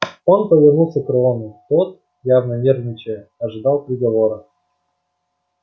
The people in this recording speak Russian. он повернулся к рону тот явно нервничая ожидал приговора